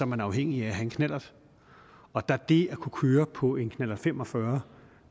man afhængig af at have en knallert og da det at kunne køre på en knallert fem og fyrre